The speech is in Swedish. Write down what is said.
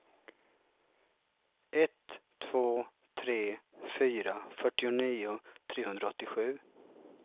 ett två tre fyra fyrtionio trehundraåttiosju